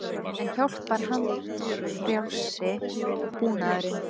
En hjálpar handfrjálsi búnaðurinn?